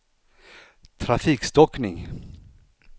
trafikstockning